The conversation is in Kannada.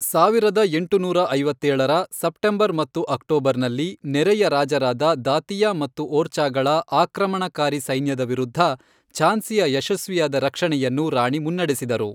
ಸಾವಿರದ ಎಂಟುನೂರ ಐವತ್ತೇಳರ, ಸೆಪ್ಟೆಂಬರ್ ಹಾಗು ಅಕ್ಟೋಬರ್ನಲ್ಲಿ, ನೆರೆಯ ರಾಜರಾದ ದಾತಿಯಾ ಮತ್ತು ಓರ್ಚಾಗಳ ಆಕ್ರಮಣಕಾರಿ ಸೈನ್ಯದ ವಿರುದ್ಧ ಝಾನ್ಸಿಯ ಯಶಸ್ವಿಯಾದ ರಕ್ಷಣೆಯನ್ನು ರಾಣಿ ಮುನ್ನಡೆಸಿದರು.